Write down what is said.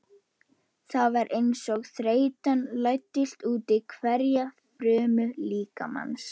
Það var einsog þreytan læddist útí hverja frumu líkamans.